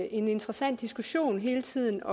interessant hele tiden